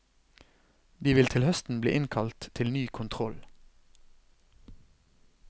De vil til høsten bli innkalt til ny kontroll.